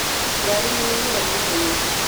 Ngari nĩ yaiyũra na ihenya.